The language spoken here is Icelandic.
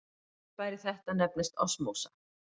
Fyrirbæri þetta nefnist osmósa.